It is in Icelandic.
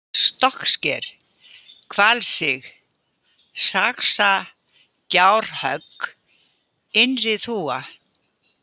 Stokksker, Hvalsig, Saxagjárhögg, Innri-Þúfa